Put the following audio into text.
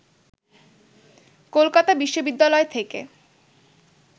কলকাতা বিশ্ববিদ্যালয় থেকে